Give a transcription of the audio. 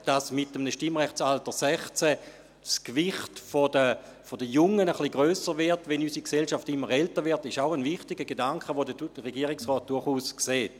Dass mit einem Stimmrechtsalter 16 das Gewicht der Jungen ein bisschen grösser würde, während unsere Gesellschaft immer älter wird, ist auch ein wichtiger Gedanke, den der Regierungsrat durchaus sieht.